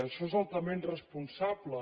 això és altament irresponsable